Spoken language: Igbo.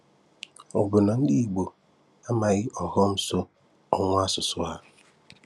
Ọ bụ na ndị Igbo amaghị ọghọm so ọnwụ asụsụ ha?